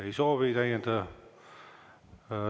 Ei soovi täiendada.